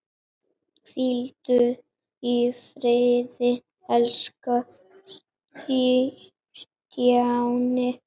Hvíldu í friði elsku Stjáni.